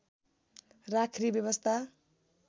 राख्ने व्यवस्था